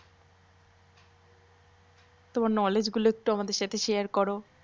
তমার knowledge গুলো একটু আমাদের সাথে share করো।